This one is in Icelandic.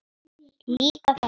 Líka þá.